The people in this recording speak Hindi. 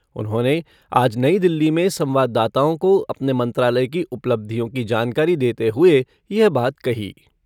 उन्होंने आज नई दिल्ली में संवाददाताओं को अपने मंत्रालय की उपलब्धियों की जानकारी देते हुए यह बात कही।